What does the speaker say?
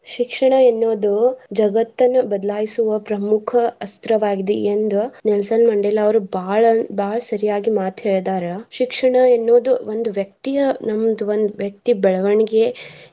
ಶಿಕ್ಷಣ ಎನ್ನೋದು ಜಗತ್ತನ ಬದಲಾಯಿಸುವ ಪ್ರಮುಖ ಅಸ್ತ್ರವಾಗಿದೆ ಎಂದು ನೆಲ್ಸನ್ ಮಂಡೇಲಾ ಅವ್ರು ಬಾಳ ಬಾಳ ಸರಿಯಾಗಿ ಮಾತ್ ಹೇಳಿದ್ದಾರ ಶಿಕ್ಷಣ ಎನ್ನೋದು ಒಂದ್ ವ್ಯಕ್ತಿಯ ನಮ್ದ್ ಒಂದ್ ವ್ಯಕ್ತಿ ಬೆಳವಣಿಗೆ.